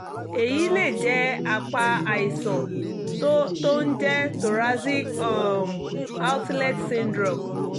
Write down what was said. èyí lè jẹ́ apá àìsàn tó tó ń jẹ́ thoracic um outlet syndrome